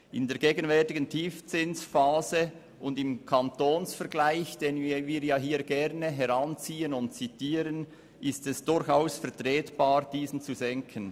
In der gegenwärtigen Tiefzinsphase und im Kantonsvergleich, den wir hier jeweils gerne heranziehen, ist es durchaus vertretbar, diesen zu senken.